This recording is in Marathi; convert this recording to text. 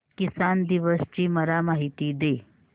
किसान दिवस ची मला माहिती दे